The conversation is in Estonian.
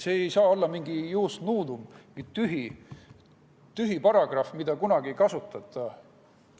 See ei saa olla mingi ius nudum, tühi paragrahv, mida kunagi ei kasutata.